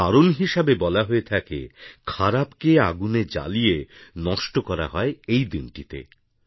এর কারণ হিসেবে বলা হয়েথাকে খারাপকে আগুনে জ্বালিয়ে নষ্ট করা হয় এই দিনটিতে